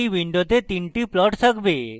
এই window তিনটি plots থাকবে